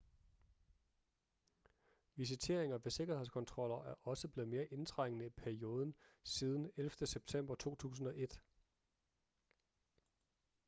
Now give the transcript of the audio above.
visiteringer ved sikkerhedskontroller er også blevet mere indtrængende i perioden siden 11. september 2001